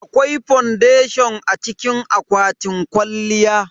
Akwai fondation a cikin akwatin kwalliya.